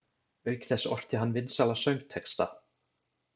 Auk þess orti hann vinsæla söngtexta.